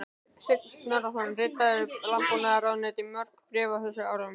Sveinn Snorrason ritaði Landbúnaðarráðuneytinu mörg bréf á þessum árum.